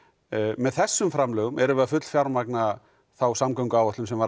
með þessum framlögum erum við að fullfjármagna þá samgönguáætlun sem var